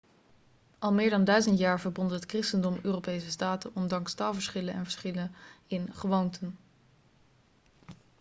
al meer dan duizend jaar verbond het christendom europese staten ondanks taalverschillen en verschillen in gewoonten